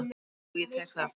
Jú, ég tek það.